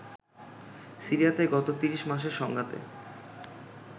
সিরিয়াতে গত ৩০ মাসের সংঘাতে